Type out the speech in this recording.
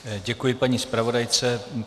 Děkuji paní zpravodajce.